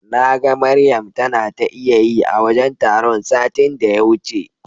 Naga Maryam tana ta iyayi a wajen taron satin da ya wuce.